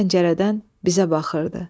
O pəncərədən bizə baxırdı.